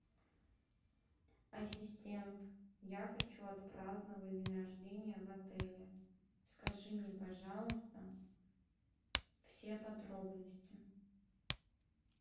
ассистент я хочу отпраздновать день рождения в отеле скажи мне пожалуйста все подробности